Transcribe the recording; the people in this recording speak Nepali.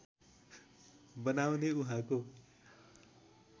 बनाउने उहाँको